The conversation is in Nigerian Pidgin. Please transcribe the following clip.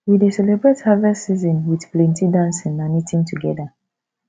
we dey celebrate harvest season with plenty dancing and eating together